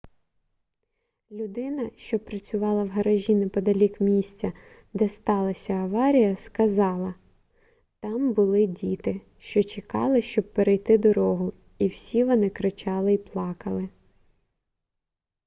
людина що працювала в гаражі неподалік місця де сталася аварія сказала там були діти що чекали щоб перейти дорогу і всі вони кричали й плакали